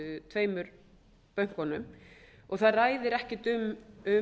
tveimur bönkunum og það ræðir ekki um